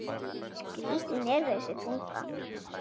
Skrítin er þessi tunga.